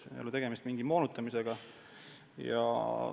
Siin ei ole tegemist mingi moonutamisega.